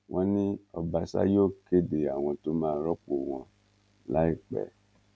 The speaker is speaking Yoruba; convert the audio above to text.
wọn ní ọbaṣà yóò kéde àwọn tó máa rọpò wọn láìpẹ